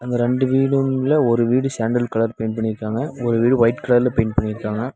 ரெண்டு வீடுங்ள ஒரு வீடு சேண்டல் கலர் பெயிண்ட் பண்ணிருக்காங்க ஒரு வீடு ஒயிட் கலர்ல பெயிண்ட் பண்ணிருக்காங்க.